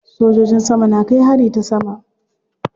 Sojojin sama na kai hari ta sama.